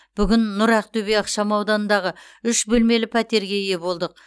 бүгін нұр ақтөбе ықшам ауданындағы үш бөлмелі пәтерге ие болдық